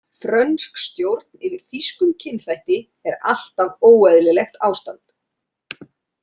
„Frönsk stjórn yfir þýskum kynþætti er alltaf óeðlilegt ástand“.